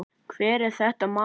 Hvað er þetta, maður!